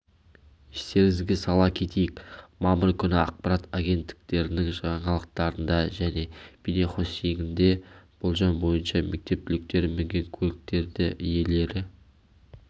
естеріңізге сала кетейік мамыр күні ақпарат агенттіктерінің жаңалықтарында және бейнехостингінде болжам бойынша мектеп түлектері мінген көліктердіиелері